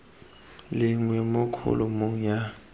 le nngwe mo kholomong ya